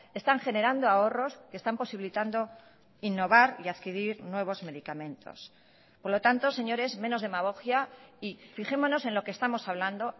están generando ahorros que están posibilitando innovar y adquirir nuevos medicamentos por lo tanto señores menos demagogia y fijémonos en lo que estamos hablando